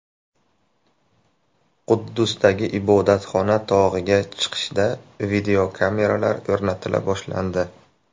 Quddusdagi Ibodatxona tog‘iga chiqishda videokameralar o‘rnatila boshlandi.